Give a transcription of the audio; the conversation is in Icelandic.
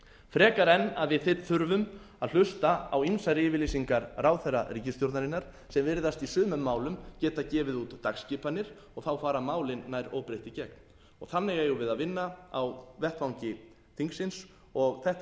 frekar en að við hér þurfum að hlusta á ýmsar yfirlýsingar ráðherra ríkisstjórnarinnar sem virðist í sumum málum geta gefið út dagskipanir og þá fara málin nær óbreytt í gegn og þannig eigum við að vinna á vettvangi þingsins og þetta